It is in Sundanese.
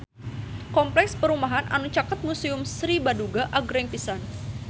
Kompleks perumahan anu caket Museum Sri Baduga agreng pisan